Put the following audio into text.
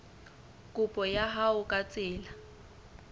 kopo ya hao ka tsela